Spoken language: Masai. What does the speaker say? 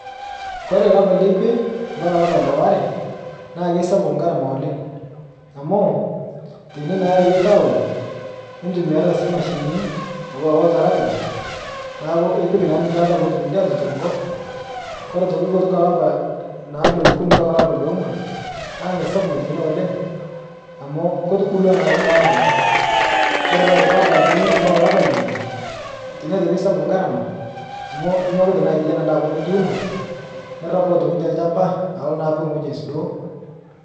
Kore lapa lekwe mpaka lapa lewaare naa keisapuk ngarama oleng' amuu teine naa erereki aaun nitumiariat sii mashinini auwa oltaragita neaku ipik naa ninche lata pootum ninche aatutur nkop, kore atoki kutuka lapa naa leokuni mpaka leong'wan naa meisapuk teine oleng' amu ketubulwa naake ndaa inia kata. Kore tootoki lapa leimet mpaka lapa leile teine aitoki eisapuk ngarama amu inyokita naa aiatai anaa ndaa apa nituuno, nirapu aitoki te lchamba alo naa apik ng'oji aisudoo.